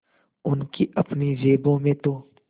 उनकी अपनी जेबों में तो